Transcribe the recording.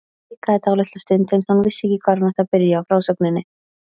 Hikaði dálitla stund eins og hún vissi ekki hvar hún ætti að byrja á frásögninni.